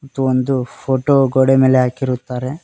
ಇದು ಒಂದು ಫೋಟೋ ಗೋಡೆ ಮೇಲೆ ಹಾಕಿರುತ್ತಾರೆ.